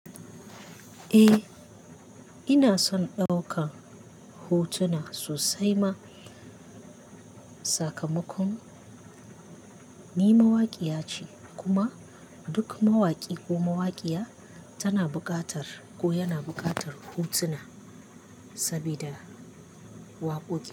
Eh, ina son ɗaukan hotuna sosai ma. Sakamakon ni mawaƙiya ce kuma duk mawaƙi ko mawaƙiya tana buƙatar ko yana buƙatar hotuna sabida wakoki.